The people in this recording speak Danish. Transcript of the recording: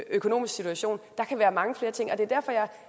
økonomisk situation der kan være mange flere ting og det er derfor jeg